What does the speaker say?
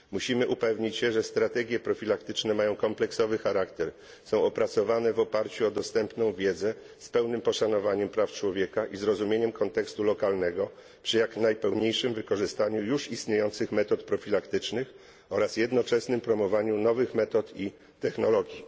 Musimy upewnić się, że strategie profilaktyczne mają kompleksowy charakter, są opracowane w oparciu o dostępną wiedzę z pełnym poszanowaniem praw człowieka i zrozumieniem kontekstu lokalnego przy jak najpełniejszym wykorzystaniu już istniejących metod profilaktycznych oraz jednoczesnym promowaniu nowych metod i technologii.